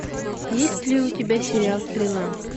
есть ли у тебя сериал стрела